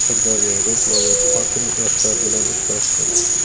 Sirdaryoda viloyat hokimi yoshlar bilan uchrashdi.